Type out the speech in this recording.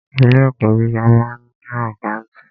Ilé ẹ̀kọ́ gíga máa ń ni àkántàntì.